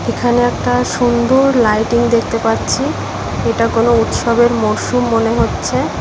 এখানে একটা সুন্দর লাইটিং দেখতে পাচ্ছি এটা কোন উৎসবের মরশুম মনে হচ্ছে।